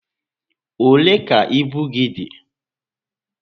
Olé ka ibu gị dị?